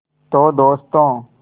तो दोस्तों